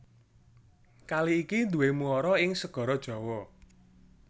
Kali iki duwé muara ing Segara Jawa